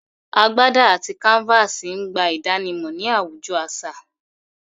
Agbádà àti kàǹfàsì n gbà ìdànímọ̀ ní awùjọ̀ aṣa